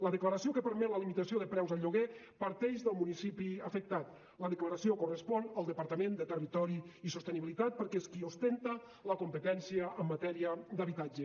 la declaració que permet la limitació de preus al lloguer parteix del municipi afectat la declaració correspon al departament de territori i sostenibilitat perquè és qui ostenta la competència en matèria d’habitatge